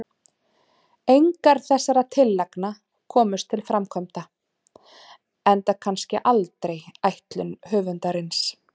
Engar þessara tillagna komust til framkvæmda, enda kannski aldrei ætlun höfundarins.